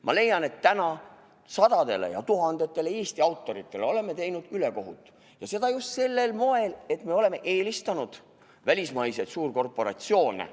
Ma leian, et me oleme teinud sadadele ja tuhandetele Eesti autoritele ülekohut, seda just sel moel, et me oleme eelistanud välismaised suurkorporatsioone.